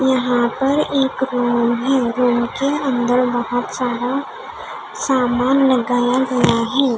यहाँ पर एक रुम है रुम के अंदर बहुत सारा सामान लगाया गया है.